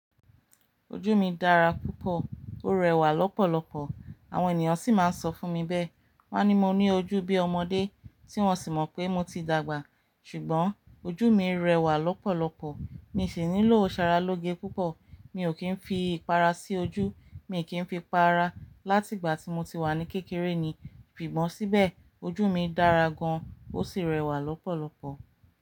Ojú mi dára púpọ̀, ó rẹwà lọ́pọ̀lọpọ̀, àwọn ènìyàn sì máa ń sọ fún mi bẹ́ẹ̀. Wọ́n ní mo ní ojú bí ọmọdé, tí wọ́n sì mọ̀ pé mo ti dàgbà. Ṣùgbọ́n ojú mi rẹwà lọ́pọ̀lọpọ̀, mi sì nílò òṣàrá lóge púpọ̀. Mi ò kí ń fi ìpara sí ojú, mi kì í fi para, láti ìgbà tí mo ti wà ní kékeré ni. Ìbímọ síbẹ̀, ojú mi dára gan, ó sì rẹwà lọ́pọ̀lọpọ̀.